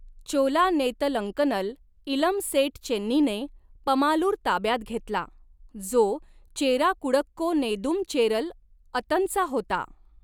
चोला नेतलंकनल इलम सेट चेन्नीने पमालूर ताब्यात घेतला, जो चेरा कुडक्को नेदुम चेरल अतनचा होता.